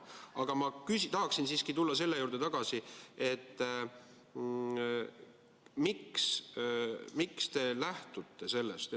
Aga ma tahaksin siiski tulla selle juurde tagasi, et küsida, miks te lähtute sellest.